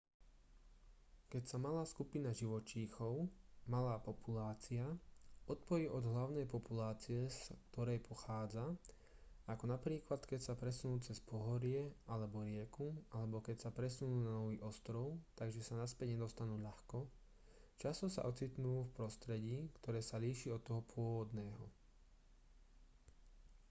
keď sa malá skupina živočíchov malá populácia odpojí od hlavnej populácie z ktorej pochádza ako napríklad keď sa presunú cez pohorie alebo rieku alebo keď sa presunú na nový ostrov takže sa naspäť nedostanú ľahko často sa ocitnú v prostredí ktoré sa líši od toho pôvodného